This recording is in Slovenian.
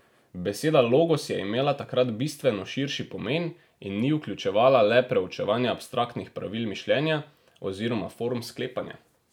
Beseda logos je imela takrat bistveno širši pomen in ni vključevala le preučevanja abstraktnih pravil mišljenja oziroma form sklepanja.